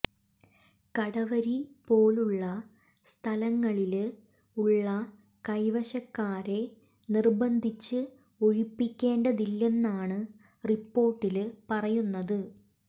കടവരി പോലുള്ള സ്ഥലങ്ങളില് ഉള്ള കൈവശക്കാരെ നിര്ബന്ധിച്ച് ഒഴിപ്പിക്കേണ്ടതില്ലെന്നാണ് റിപ്പോര്ട്ടില് പറയുന്നത്